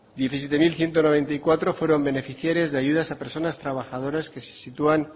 diecisiete mil ciento noventa y cuatro fueron beneficiarias de ayudas a personas trabajadoras que se sitúan